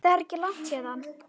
Það er ekki langt héðan.